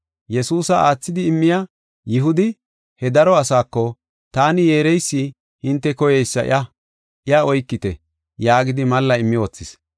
Yesuusa aathidi immiya Yihudi he daro asaako, “Taani yeereysi hinte koyeysi iya, iya oykite” yaagidi malla immi wothis.